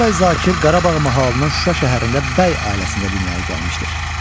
Qasım Bəy Zakir Qarabağ mahalının Şuşa şəhərində bəy ailəsində dünyaya gəlmişdir.